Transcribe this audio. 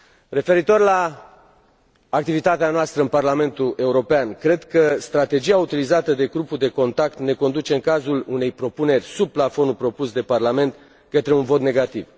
Referitor la activitatea noastră în Parlamentul European, cred că strategia autorizată de grupul de contact ne conduce în cazul unei propuneri sub plafonul propus de Parlament, către un vot negativ.